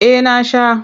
Eh na sha.